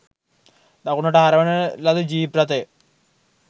දකුණට හරවන ලද ජීප් රථය